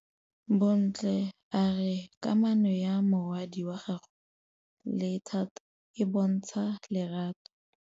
Bontle a re kamanô ya morwadi wa gagwe le Thato e bontsha lerato.